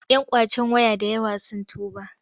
Yan ƙwacen waya da yawa sun tuba.